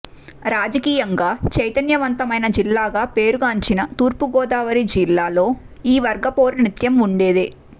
రాజకీయంగా చైతన్యవంతమైన జిల్లాగా పేర్గాంచిన తూర్పుగోదావరి జిల్లాలో ఈ వర్గపోరు నిత్యం ఉండేదే